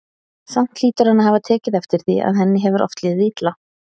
Samt hlýtur hann að hafa tekið eftir því að henni hefur oft liðið illa.